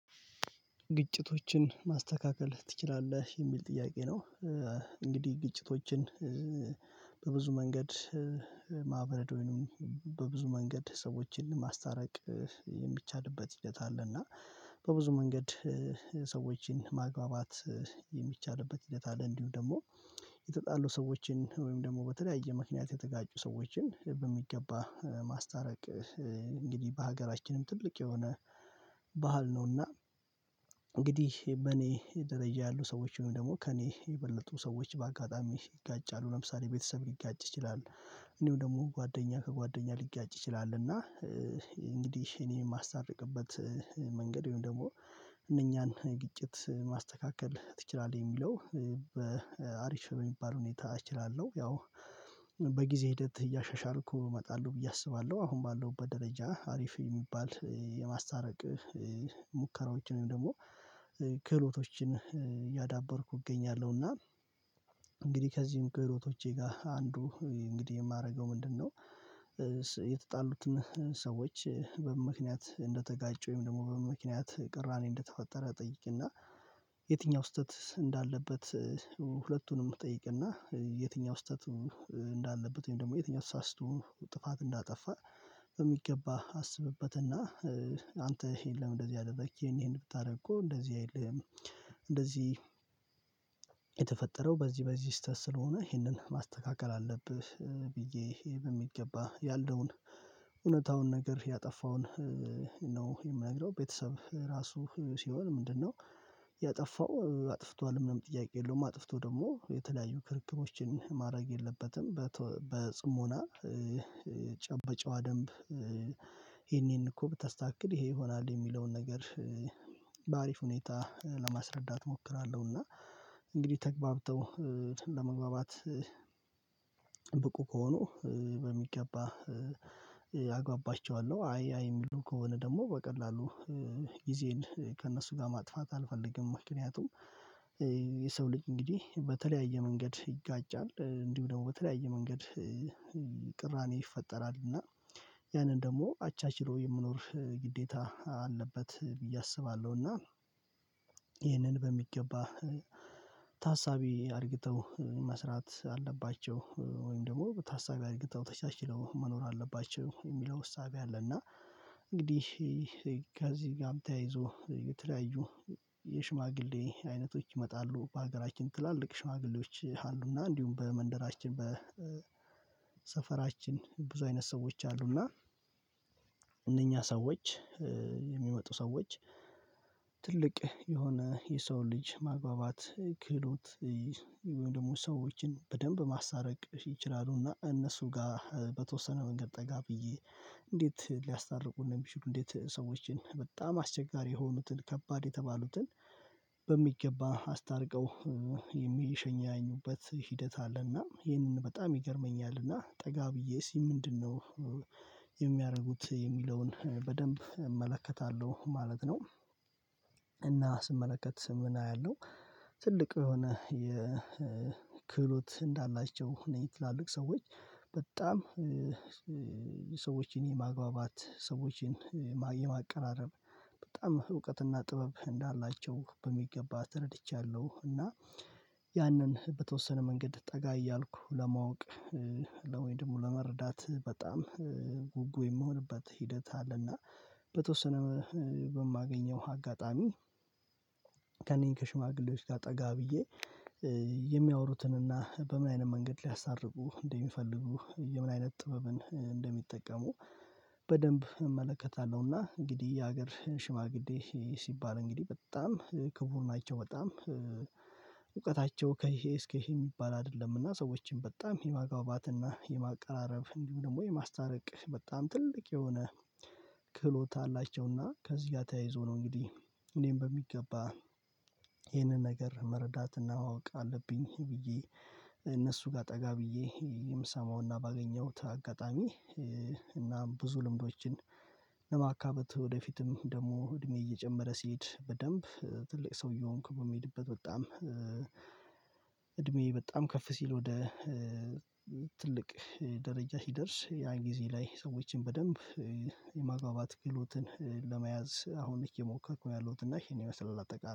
ግጭቶችን ማስተካከል ትችላለህ የሚል ጥያቄ ነው? እንግዲህ ግጭቶችን በብዙ መንገድ ማብረድ ወይንም በብዙ መንገድ ሰዎችን ማስታረቅ። ሂደት አለ እና በብዙ መንገድ ሰዎችን ማግባባት የሚቻልበት ሂደት አለ። እንዲሁ ደግሞ የተጣሉ ሰዎችን ወይም ደግሞ በተለያየ ምክንያት የተጋጩ ሰዎችን በሚገባ ማስታረቅ እንግዲህ በሀገራችንም ትልቅ የሆነ ባህል ነውና። እንግዲህ በኔ ደረጃ ያሉ ሰዎች ወይም ደግሞ ከእኔ የበለጡ ሰዎች በአጋጣሚ ይጋጫሉ ለምሳሌ ቤተሰብ ሊጋጭ ይችላል። እንድሁም ደግሞ ጓደኛ ከጓደኛ ሊጋጭ ይችላል። እና እንግዲህ እኔ የማሳተርቅበት መንገድ ወይም ደግሞ እነኛን ግጭት ማስተካከል ትችላለህ የሚለው በአሪፊ በሚባል ሁኔታ እችላለሁ። ያው በጊዜ ሂደት እያሻሻልኩ እመጣለሁ ብዬ አስባለሁ አሁን ባለው ደረጃ አሪፍ የሚባል የማሳተረቅ ሙከራዎችን ወይም ደግሞ ክህሎቶችን እያዳበርኩ እገኛለሁና። እንግዲህ ከዚህም ክህሎቶቼ ጋር አንዱ እንግዲህ የማደርገው ምንድነው? የተጣሉትን ሰዎች በምን ምክንያት እንደተጋጩ ወይም ደግሞ በምን ምክንያት ቅራኔ እንደተፈጠረ እጠይቅና የትኛው ስህተት እንዳለበት? ሁለቱንም እጠይቅና የትኛው ስህተት እንዳለበት ወይም ደግሞ የትኛው ተሳስቶ ጥፋት እንዳጠፋ? በሚገባ አስብበትና አንተ ይሄን ለምን እንደዚህ አደረግክ ይሄን ብታደርግ እኮ እንደዚህ አይልህም? እንደዚህ የተፈጠረው በዚህ በዚህ ስህተት ስለሆነ ይህንን ማስተካከል አለብህ ብዬ ይሄ በሚገባ ያለውን እውነታውን ነገር ያጠፋውን ነው። የምናግረው ቤተሰብ ራሱ ሲሆን ምንድነው? ያጠፋው አጥፍቷል ምንም ጥያቄ የለውም አጥፍቶ ደግሞ የተለያዩ ክርክሮችን ማድረግ የለበትም። በተ በጽሞና በጨዋ ደንብ ይሄን ይሄን እኮ ብተስታከክል ይሄ ይሆናል የሚለውን ነገር በአሪፍ ሁኔታ ለማስረዳት እሞክራለሁ። እና እንግዲህ ተግበብተው ለመግባባት ብቁ ከሄኑ በሚገባ አግባባቸዋለሁ አይ አይ የሚሉ ከሆነ ደግሞ በቀላሉ ጊዜን ከእነሱ ጋር ማጥፋት አልፈልግም። ምክንያቱም የሰው ልጅ እንግዲህ በተለያየ መንገድ ይጋጫል እንዲሁ ደግሞ በተለያየ መንገድ ቅራኔ ይፈጠራል። እና ያንን ደግሞ አቻችሎ የመኖር ግዴታ አለበት ብዬ አስባለሁ። እና ይህንን በሚገባ ታሳቢ አድርግተው መስራት አለባቸው ወይም ደግሞ ታሳቢ አድረገው ተቻችለው መኖር አለባቸው። የሚለው እሰቢ አለና እንግዲህ ከዚህ ጋር ተያይዞ የተለያዩ የሽማግሌ አይነቶች ይመጣሉ። በሀገራችን ትላልቅ ሽማግሌዎች አሉና እንዲሁም በመንደራችን በሰፈራችን ብዙ አይነት ሰዎች አሉና። እነኛ ሰዎች የሚመጡ ሰዎች ትልቅ የሆነ የሰው ልጅ ማግባባት ክህሎት ደግሞ ሰዎችን በደንብ ማስተረቅ ይችላሉና። እነሱ ጋር በተወሰነ መንገድ ጠጋ ብዬ እንዴት ሊያስታርቁ እንደሚችሉ እንዴት ሰዎችን በጣም አስቸጋሪ የሆኑትን ከባድ የተባሉትን በሚገባ አስታርቀው የሚሸኘኙበት ሂደት አለና ይህንን በጣም ይገርመኛልና ጠጋ ብዬ እስቲ ምንድነው? የሚያደርጉት የሚለውን በደንብ እመለከታለሁ ማለት ነው። እና ስመለከት ስምምነት ያለው ትልቁ የሆነ የክህሎት እንዳላቸው እኔ ትላልቅ ሰዎች በጣም ሰዎችን የማግባባት ሰዎችን የማ የማቀራራብ በጣም እውቀትና ጥበብ እንዳላቸው በሚገባ ተረድቻለሁ። እና ያንን በተወሰነ መንገድ ጠጋ እያልኩ ለማወቅ ወይ ደግሞ ለመረዳት በጣም ጉጉ የምሆንበት ሂደት አለና። በተወሰነ በማገኘው አጋጣሚ ከሽማግሌዎች ጋር ጠጋ ብዬ የሚያወሩትን እና በምን አይነት መንገድ ሊያስተርቁ እንደሚፈልጉ የምን አይነት ጥበብን እንደሚጠቀሙ በደንብ እመለከታለሁና። እንግዲህ የሀገር ሽማግሌ ሲባል እንግዲህ በጣም ክቡር ናቸው። በጣም እውቀታቸው ከይሄ እስከ ይሄ የሚባል አይደለምና ሰዎችን በጣም የማግባባትና የማቀራረብ እንዲሁ ደግሞ የማስታረቅ በጣም ትልቅ የሆነ ክህሎት አላቸውና። ከዚህ ጋር ተያይዞ ነው። እንግዲህ እኔም በሚገባ ይሄንን ነገር መረዳትና ማወቅ አለብኝ። ብዬ እነሱ ጋር ጠጋ ብዬ የምሰማውና ባገኘሁት አጋጣሚ። እናም ብዙ ልምዶችን ለማካበት ወደ ፊትም ደግሞ እድሜ እየጨመረ ሲሄድ በደንብ ትልቅ ሰው እየሆንኩ በሚሄድበት በጣም በጣም ከፍ ሲል ወደ ትልቅ ደረጃ ሲደርስ ያን ጊዜ ላይ ሰዎችን በደንብ የማግባባት ክህሎትን ለመያዝ አሁን እየሞከርኩ ነው ያለሁት እና ይሄን የመሰለ አጠቃላይ